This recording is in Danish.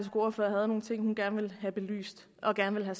ordfører havde nogle ting hun gerne ville have belyst og gerne ville